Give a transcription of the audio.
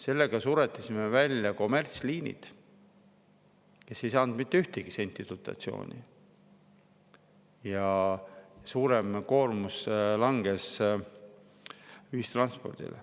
Sellega suretasime välja kommertsliinid, kes ei saanud mitte ühtegi senti dotatsiooni, ja suurem koormus langes ühistranspordile.